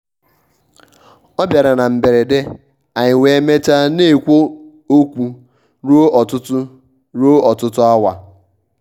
ọ bịara na mberede anyị wee mechaa na-ekwu okwu ruo ọtụtụ ruo ọtụtụ awa.